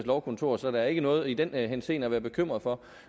lovkontor så der er ikke noget i den henseende at være bekymret for